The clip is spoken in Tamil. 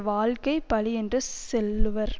வாழ்க்கை பழி என்று செல்லுவர்